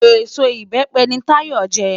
Ésó ibèpè ni Táyo njè